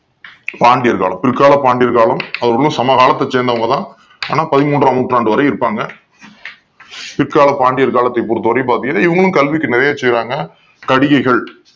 பாண்டிய காலம் பிற்காலம் பாண்டியர் காலம் அவங்க வந்து சமகாலத்தை சேர்ந்தவங்க தான் ஆனா பதிமூண்றாம் நூற்றாண்டு வரை இருப்பாங்க பிற்காலம் பாண்டியர் காலத்தை பொறுத்தவரை பாத்தீங்கன்னா இவங்களும் கல்விக்கு நிறைய செய்றாங்க கடிகைகள்